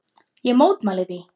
Ég mótmæli því.